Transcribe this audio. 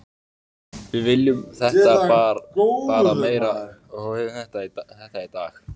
Við vildum þetta bara meira og höfðum þetta í dag.